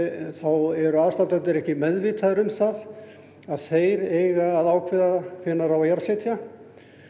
þá eru aðstandendur ekki meðvitaðir um það að þeir eiga að ákveða hvenær á að jarðsetja